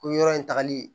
Ko yɔrɔ in tagali